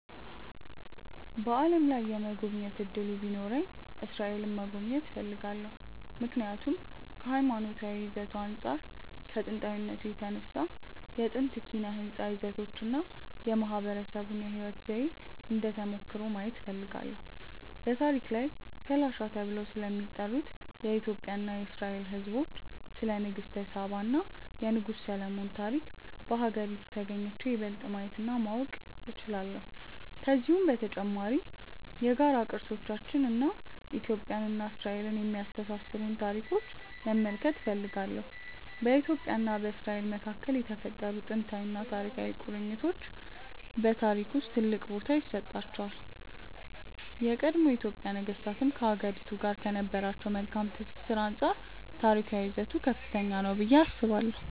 በዓለም ላይ የመጎብኘት እድሉ ቢኖረኝ እስራኤልን መጎብኘት እፈልጋለሁ። ምክንያቱም ከሀይማኖታዊ ይዘቱ አንፃር እና ከጥንታዊነቱ የተነሳ ነው። የጥንት ኪነ ህንፃ ይዘቶቹን እና የማህበረሰቡን የህይወት ዘዬ እንደ ተሞክሮ ማየት እፈልጋለሁ። በታሪክ ላይም ፈላሻ ተብለው ስለሚጠሩት የኢትዮጵያ እና የእስራኤል ህዝቦች፣ ስለ ንግስተ ሳባ እና የንጉስ ሰሎሞን ታሪክ በሀገሪቱ ተግኝቼ ይበልጥ ማየት እና ማወቅ እችላለሁ። ከዚሁም በተጨማሪ የጋራ ቅርሶቻችንን እና ኢትዮጵያን እና እስራኤልን የሚያስተሳስሩንን ታሪኮች መመልከት እፈልጋለሁ። በኢትዮጵያ እና በእስራኤል መካከል የተፈጠሩት ጥንታዊና ታሪካዊ ቁርኝቶች በታሪክ ውስጥ ትልቅ ቦታ ይሰጣቸዋል። የቀድሞ የኢትዮጵያ ነገስታትም ከሀገሪቱ ጋር ከነበራቸው መልካም ትስስር አንፃር ታሪካዊ ይዘቱ ከፍተኛ ነው ብዬ አስባለሁ።